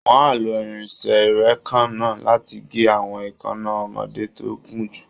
Wọ́n á lo irinṣẹ́ ìréèkánná láti gé àwọn èékánná ọmọdé tó gùn jù